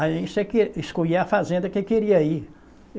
Aí você que escolhia eh a fazenda que queria ir.